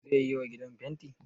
Zai yiwa gidan fenti?